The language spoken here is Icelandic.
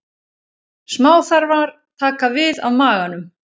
Smáþarmar taka við af maganum.